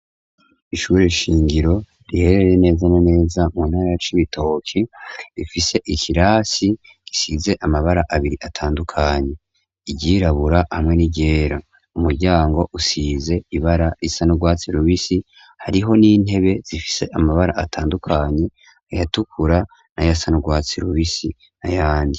Ishuri shingiro riherereye neza na neza mu ntara ya cibitoki rifise ikirasi isize amabara abiri atandukanye iry'irabura hamwe ni ryera. Umuryango usize ibara risa n'urwatsi rubisi hariho n'intebe zifise amabara atandukanye ay'atukura na yasa n'urwatsi rubisi nayandi.